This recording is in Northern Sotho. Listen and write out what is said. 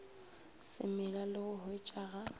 se mela le go hwetšaga